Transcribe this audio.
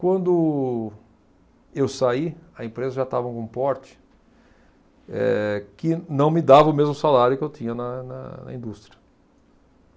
Quando eu saí, a empresa já estava com um porte, eh, que não me dava o mesmo salário que eu tinha na, na indústria.